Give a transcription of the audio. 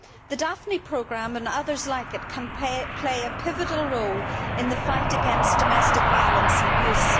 The Daphne programme and others like it can play a pivotal role in the fight against domestic violence and abuse.